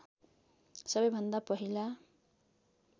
सबैभन्दा पहिला